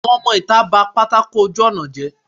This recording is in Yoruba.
àwọn ọmọ itá ba pàtàkó ojù ọna jé.